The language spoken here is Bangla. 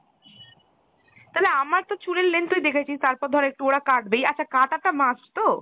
তালে আমার তো চুলের length তুই দেখেছিস তারপর ধর একটু ওরা কাটবেই , আচ্ছা কাটা টা must তো?